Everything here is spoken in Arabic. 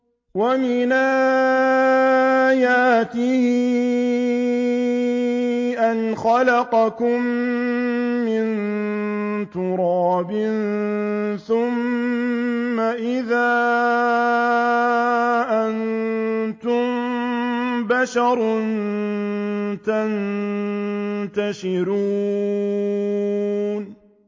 وَمِنْ آيَاتِهِ أَنْ خَلَقَكُم مِّن تُرَابٍ ثُمَّ إِذَا أَنتُم بَشَرٌ تَنتَشِرُونَ